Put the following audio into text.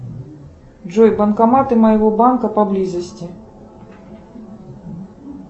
джой банкоматы моего банка поблизости